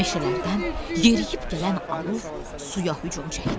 Meşələrdən yeriyib gələn alov suya hücum çəkdi.